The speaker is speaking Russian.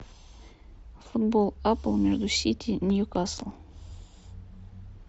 футбол апл между сити ньюкасл